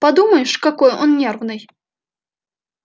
подумаешь какой он нервный